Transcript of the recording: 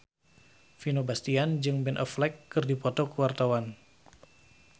Vino Bastian jeung Ben Affleck keur dipoto ku wartawan